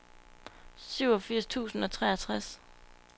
syvogfirs tusind og treogtres